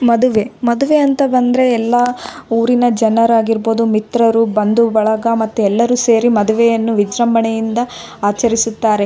ಕಾರ್ಯಕ್ರಮ ನಡೀತಾ ಐತೆ ಎಲ್ಲರೂ ನಿಂತುಕೊಂಡು ಫೋಟೋ ತೆಗಿತಾ ಇದ್ದಾರೆ ಹಸಿರು ಹುಲ್ಲುಹುಲ್ಲು ಕಾಣಿಸ್ತಾ ಇದೆ .